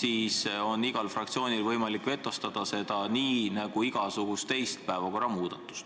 siis on igal fraktsioonil võimalik vetostada seda nii, nagu igasugust teist päevakorra muudatust.